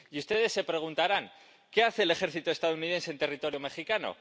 Y ustedes se preguntarán ¿Qué hace el ejército estadounidense en territorio mexicano?